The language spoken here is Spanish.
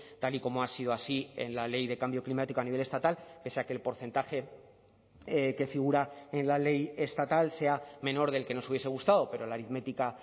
tal y como ha sido así en la ley de cambio climático a nivel estatal pese a que el porcentaje que figura en la ley estatal sea menor del que nos hubiese gustado pero la aritmética